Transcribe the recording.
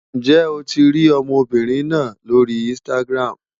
Ǹjẹ́ o ti rí ọmọbìnrin náà lórí Instagram?